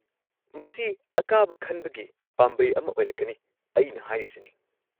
ꯃꯁꯤ ꯑꯀꯥꯕ-ꯈꯟꯕꯒꯤ ꯄꯥꯝꯕꯩ ꯑꯃ ꯑꯣꯏꯔꯛꯀꯅꯤ, ꯑꯩꯅ ꯍꯥꯏꯔꯤꯁꯤꯅꯤ꯫